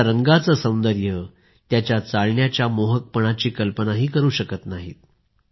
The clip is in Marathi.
त्याच्या रंगांचे सौंदर्य आणि त्याच्या चालण्याच्या मोहकपणाची कल्पना करू शकत नाही